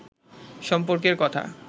সম্পর্কের কথা